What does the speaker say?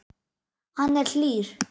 Hann er hlýr.